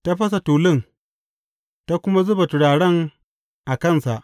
Ta fasa tulun, ta kuma zuba turaren a kansa.